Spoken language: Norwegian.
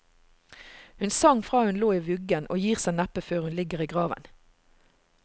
Hun sang fra hun lå i vuggen, og gir seg neppe før hun ligger i graven.